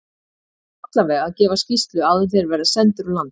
Ég á allavega að gefa skýrslu áður en þeir verða sendir úr landi.